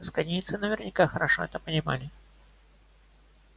асконийцы наверняка хорошо это понимали